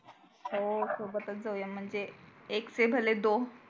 हो सोबतच जाऊया म्हणजे एक से भले दो